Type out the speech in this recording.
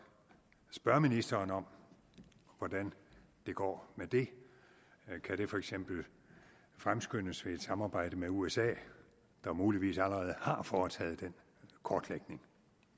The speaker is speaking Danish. spørge ministeren om hvordan det går med det kan det for eksempel fremskyndes ved et samarbejde med usa der muligvis allerede har foretaget den kortlægning